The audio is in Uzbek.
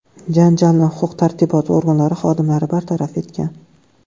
Janjalni huquq tartibot organlari xodimlari bartaraf etgan.